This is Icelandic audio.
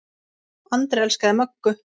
Andri elskaði Möggu.